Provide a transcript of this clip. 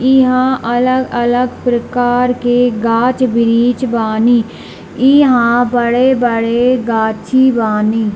इहाँ अलग-अलग प्रकार के गाछ वृक्ष बानी | इहाँ बड़े-बड़े गाछी बानी |